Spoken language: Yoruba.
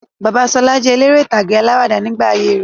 Bàbá Sala jẹ eléré ìtàgé alawada nígbà ayé rẹ̀